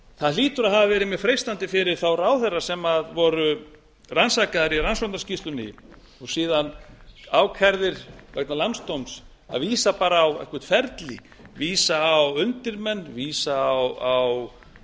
það hlýtur að hafa verið mjög freistandi fyrir þá ráðherra sem voru rannsakaðir í rannsóknarskýrslunni og síðan ákærðir vegna landsdóms að vísa bara á eitthvert ferli vísa á undirmenn vísa á